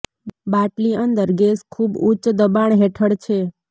બાટલી અંદર ગેસ ખૂબ જ ઉચ્ચ દબાણ હેઠળ છે